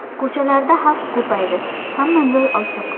Ko‘chalarda xalq ko‘paydi, hamma joy ochiq.